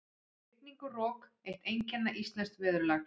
Rigning og rok- eitt einkenna íslensks veðurlags.